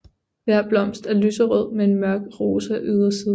Hver blomst er lyserød med en mørk rosa yderside